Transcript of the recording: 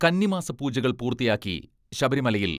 കന്നിമാസ പൂജകൾ പൂർത്തിയാക്കി ശബരിമലയിൽ